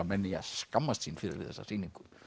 menn eigi að skammast sín fyrir þessa sýningu